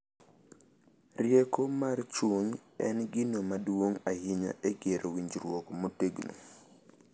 Rieko mar chuny en gino maduong’ ahinya e gero winjruok motegno,